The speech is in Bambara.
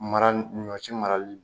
Mara ni ɲɔsi marali